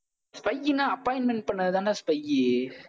spy னா appointment பண்ணதுதாண்டா spy